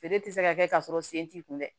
Feere tɛ se ka kɛ ka sɔrɔ sen t'i kun dɛ